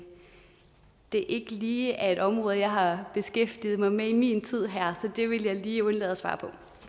det ikke lige er et område jeg har beskæftiget mig med i min tid her så det vil jeg lige undlade at svare